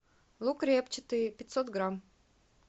лук репчатый пятьсот грамм